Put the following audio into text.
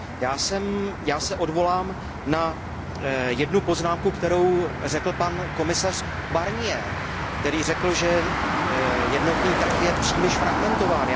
Já se odvolám na jednu poznámku, kterou řekl pan komisař Barnier, který řekl, že jednotný trh je příliš fragmentován.